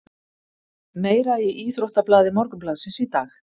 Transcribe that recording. Meira í íþróttablaði Morgunblaðsins í dag